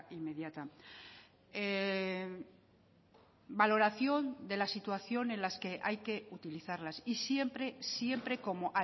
inmediata valoración de la situación en las que hay que utilizarlas y siempre siempre como